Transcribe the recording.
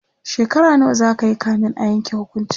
shekara nawa zakayi kamin a Yanke hukuncin?